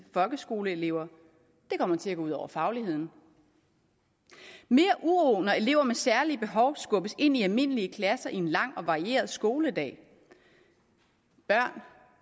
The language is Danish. folkeskoleelever og det kommer til at gå ud over fagligheden mere uro når elever med særlige behov skubbes ind i almindelige klasser i en lang og varieret skoledag børn